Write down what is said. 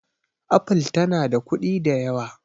apple tana da kuɗi da yawa